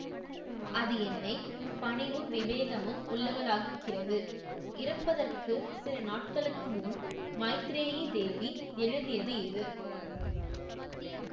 அது என்னை பணிவும் விவேகமும் உள்ளவளாக க்குகிறது இறப்பதற்கு சிலநாட்களுக்கு முன் மைத்ரேயி தேவி எழுதியது இது